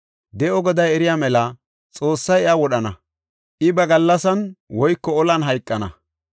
De7o Goday eriya mela, Xoossay iya wodhana; I ba gallasan woyko olan hayqana.